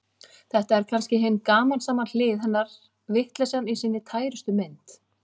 Þetta er kannski hin gamansama hlið hennar, vitleysan í sinni tærustu mynd.